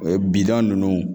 O ye bida ninnu